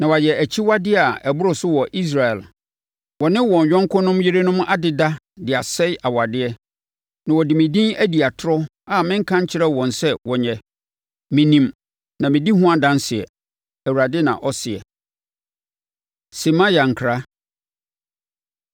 Na wɔayɛ akyiwadeɛ a ɛboro so wɔ Israel: wɔne wɔn yɔnkonom yerenom adeda de asɛe awadeɛ, na wɔde me din adi atorɔ a mennka nkyerɛɛ wɔn sɛ wɔnyɛ. Menim na medi ho adanseɛ,” Awurade na ɔseɛ. Semaia Nkra